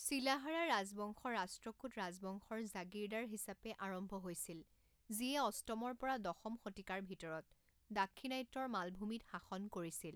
শিলাহাৰা ৰাজবংশ ৰাষ্ট্ৰকূট ৰাজবংশৰ জাগিৰদাৰ হিচাপে আৰম্ভ হৈছিল যিয়ে অষ্টমৰ পৰা দশম শতিকাৰ ভিতৰত দাক্ষিণাত্যৰ মালভূমিত শাসন কৰিছিল।